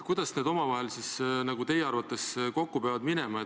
Kuidas need omavahel teie arvates kokku peavad minema?